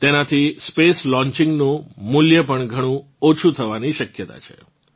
તેનાથી space launching નું મૂલ્ય ઘણું ઓછું થવાની શક્યતા છે